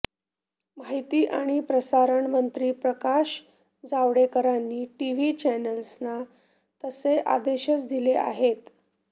माहिती आणि प्रसारण मंत्री प्रकाश जावडेकरांनी टीव्ही चॅनेल्सना तसे आदेशच दिले आहेत